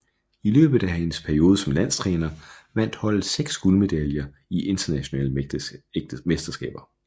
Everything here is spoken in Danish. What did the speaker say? I løbet af hendes periode som landstræner vandt holdet seks guldmedaljer i internationale mesterskaber